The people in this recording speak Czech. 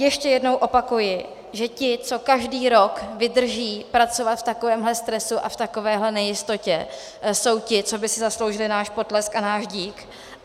Ještě jednou opakuji, že ti, co každý rok vydrží pracovat v takovémhle stresu a v takovéhle nejistotě, jsou ti, co by si zasloužili náš potlesk a náš dík.